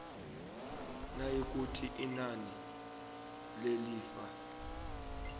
nayikuthi inani lelifa